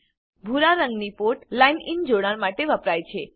ભૂરા રંગની port line in જોડાણ માટે વપરાય છે દા